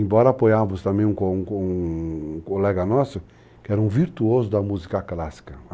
Embora apoiarmos também com um com um colega nosso, que era um virtuoso da música clássica.